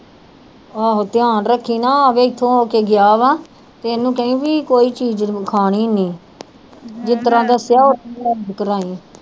ਆਹੋ ਧਿਆਨ ਰੱਖੀ ਨਾ ਆਵੇ ਇੱਥੋਂ ਹੋ ਕੇ ਗਿਆ ਵਾ ਤੇ ਇਹਨੂੰ ਕਹੀਂ ਵੀ ਕੋਈ ਚੀਜ਼ ਖਾਣੀ ਨੀ ਜਿਸ ਤਰ੍ਹਾਂ ਦੱਸਿਆ ਉਸ ਤਰ੍ਹਾਂ ਕਰਵਾਈਂ